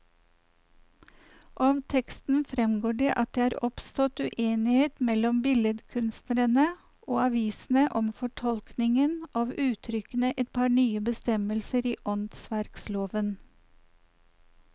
Av teksten fremgår det at det er oppstått uenighet mellom billedkunstnerne og avisene om fortolkningen av uttrykkene i et par nye bestemmelser i åndsverkloven.